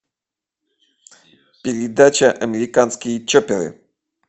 передача американские чопперы